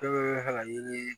laɲini ye